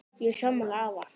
Ég er sammála afa.